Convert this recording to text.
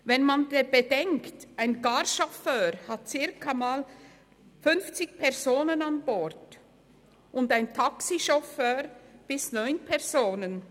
Wenn man bedenkt: Ein Carchauffeur hat rund fünfzig Personen an Bord und ein Taxichauffeur bis zu neun Personen.